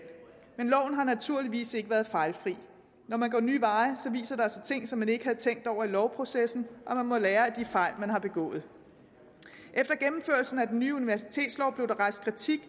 men loven har naturligvis ikke været fejlfri når man går nye veje viser der sig ting som man ikke havde tænkt over i lovprocessen og man må lære af de fejl man har begået efter gennemførelsen af den nye universitetslov blev der rejst kritik